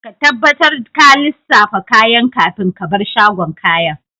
Ka tabbatar ka lissafa kayan kafin ka bar shagon kayan.